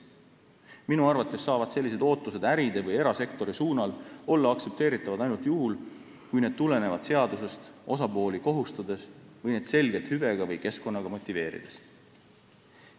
Minu arvates saavad sellised ootused äridele või erasektorile olla aksepteeritavad ainult juhul, kui need tulenevad seadusest osapooli kohustades või neid selgelt hüvega või keskkonnaga motiveerides.